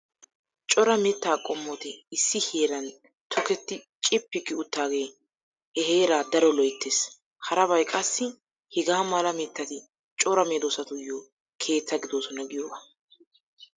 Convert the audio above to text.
Cora mitta qommoti issi heeran toketti cippi gi uttaagee he heeraa daro loyttees. Harabay qassi hegaa mala mittati cora meedoosatuyyo keetta gidoosona giyogaa.